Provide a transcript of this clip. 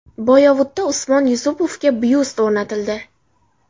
Boyovutda Usmon Yusupovga byust o‘rnatildi.